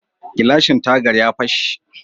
Gilashin tagar ya fashe.